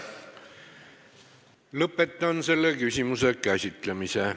Lõpetan selle küsimuse käsitlemise.